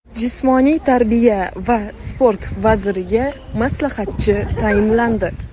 Jismoniy tarbiya va sport vaziriga maslahatchi tayinlandi.